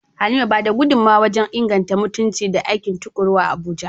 Halima ba da gudunmawa wajen inganta mutunci da aiki tuƙuru a Abuja.